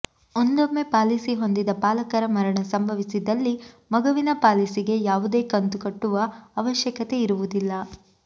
ಒಂದೊಮ್ಮೆ ಪಾಲಿಸಿ ಹೊಂದಿದ ಪಾಲಕರ ಮರಣ ಸಂಭವಿಸಿದಲ್ಲಿ ಮಗುವಿನ ಪಾಲಿಸಿಗೆ ಯಾವುದೇ ಕಂತು ಕಟ್ಟುವ ಅವಶ್ಯಕತೆ ಇರುವುದಿಲ್ಲ